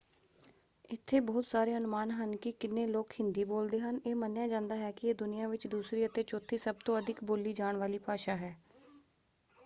ਇੱਥੇ ਬਹੁਤ ਸਾਰੇ ਅਨੁਮਾਨ ਹਨ ਕਿ ਕਿੰਨੇ ਲੋਕ ਹਿੰਦੀ ਬੋਲਦੇ ਹਨ। ਇਹ ਮੰਨਿਆ ਜਾਂਦਾ ਹੈ ਕਿ ਇਹ ਦੁਨੀਆਂ ਵਿੱਚ ਦੂਸਰੀ ਅਤੇ ਚੌਥੀ ਸਭ ਤੋਂ ਅਧਿਕ ਬੋਲੀ ਜਾਣ ਵਾਲੀ ਭਾਸ਼ਾ ਹੈ।